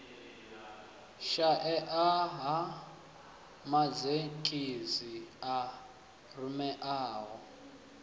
shaea ha mazhendedzi a rumelaho